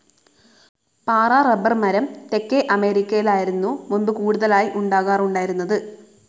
പാറ റബ്ബർ മരം തെക്കേ അമേരിക്കയിലായിരുന്നു മുമ്പ് കൂടുതലായി ഉണ്ടാക്കാറുണ്ടായിരുന്നത്.